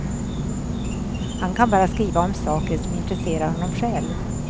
Han kan bara skriva om saker som intresserar honom själv.